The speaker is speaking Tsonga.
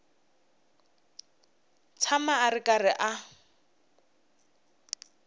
tshama a ri karhi a